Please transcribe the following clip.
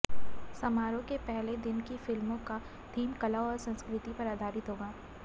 समारोह के पहले दिन की फिल्मों का थीम कला और संस्कृति पर आधारित होगा